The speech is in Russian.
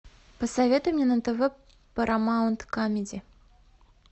посоветуй мне на тв парамаунт камеди